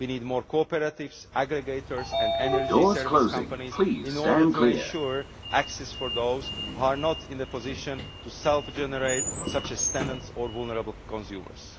We need more cooperatives, aggregators, and energy service companies in order to ensure access for those who are not in a position to self generate, such as tenants and vulnerable consumers.